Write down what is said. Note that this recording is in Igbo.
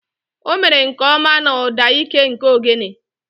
O mere nke ọma na ụda ike nke ogene.